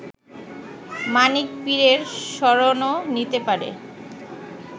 মানিক পীরের শরণও নিতে পারে